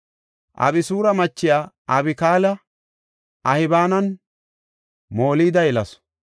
Abisura machiya Abikaala Ahbaananne Molida yelasu.